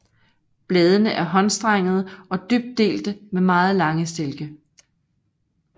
Bladene er håndstrengede og dybt delte med meget lange stilke